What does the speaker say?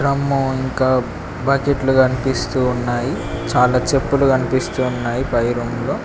drum ఇంకా బకెట్లు కన్పిస్తూ ఉన్నాయి చాలా చెప్పులు కన్పిస్తూ ఉన్నాయి పై రూమ్ లో --